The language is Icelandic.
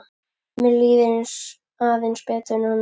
Mér líður aðeins betur núna.